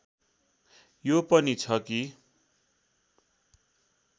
यो पनि छ कि